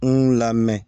N lamɛn